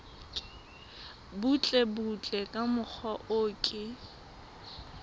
butlebutle ka mokgwa o ke